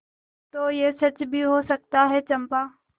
तो यह सच भी हो सकता है चंपा